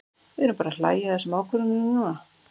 Við erum bara að hlæja að þessum ákvörðunum núna.